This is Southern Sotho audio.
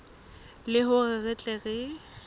le hore re tle re